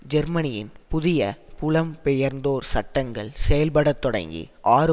ஜெர்மனியின் புதிய புலம்பெயர்ந்தோர் சட்டங்கள் செயல்பட தொடங்கி ஆறு